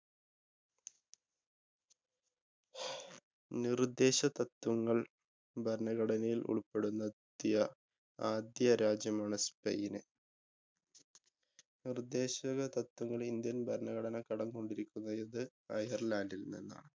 നിര്‍ദ്ദേശ തത്വങ്ങള്‍ ഭരണഘടനയില്‍ ഉള്‍പ്പെടുന്ന~ത്തിയ ആദ്യ രാജ്യമാണ് spain. നിര്‍ദ്ദേശക തത്വങ്ങള്‍ ഇന്ത്യന്‍ ഭരണഘടന കടം കൊണ്ടിരിക്കുന്ന~ത് netherland ല്‍ നിന്നാണ്.